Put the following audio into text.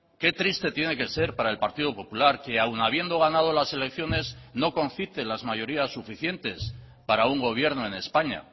qué triste tiene que ser para el partido popular que aun habiendo ganado las elecciones no concite las mayorías suficientes para un gobierno en españa